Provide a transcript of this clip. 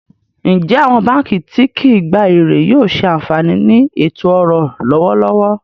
Ǹjẹ́ awọn bankí ti kìí gbà èrè yóò ṣé ànfaní ní ètò-ọ̀rọ̀ lọwọ̀lọwọ̀?